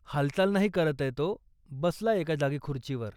हालचाल नाही करतंय तो, बसलाय एका जागी खुर्चीवर.